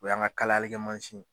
O y'an ka kalalikɛ mansin ye.